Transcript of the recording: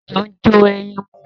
Ejò ń jó ẹyin mu.